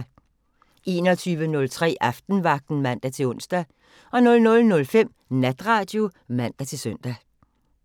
21:03: Aftenvagten (man-ons) 00:05: Natradio (man-søn)